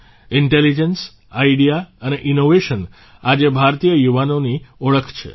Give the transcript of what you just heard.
intelligence idea અને innovation આજે ભારતીય યુવાઓની ઓળખ છે